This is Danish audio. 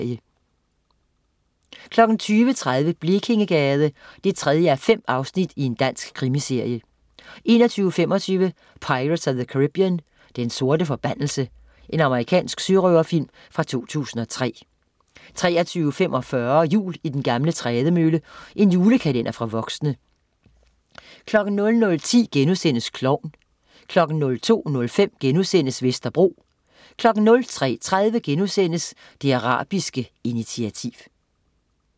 20.30 Blekingegade. 3:5 Dansk krimiserie 21.25 Pirates of the Caribbean. Den sorte forbandelse. Amerikansk sørøverfilm fra 2003 23.45 Jul i den gamle trædemølle. Julekalender for voksne 00.10 Klovn* 02.05 Vesterbro* 03.30 Det arabiske initiativ*